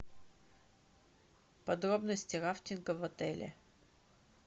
подробности рафтинга в отеле